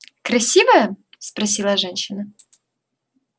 красивая спросила женщина